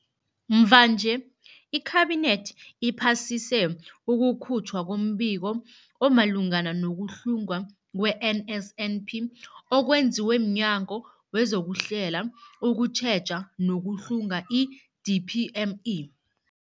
Mvanje, iKhabinethi iphasise ukukhutjhwa kombiko omalungana nokuhlungwa kwe-NSNP okwenziwe mNyango wezokuHlela, ukuTjheja nokuHlunga, i-DPME.